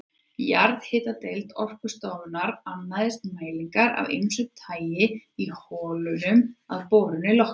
Jarðhitadeild Orkustofnunar annaðist mælingar af ýmsu tagi í holunum að borun lokinni.